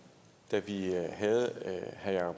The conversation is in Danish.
så er det herre